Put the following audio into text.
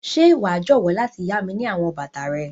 Ṣe wa jọwọ lati ya mi ni àwọn bàtà rẹ?